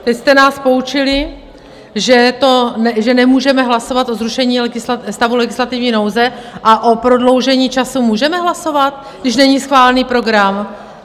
Teď jste nás poučili, že nemůžeme hlasovat o zrušení stavu legislativní nouze, a o prodloužení času můžeme hlasovat, když není schválený program?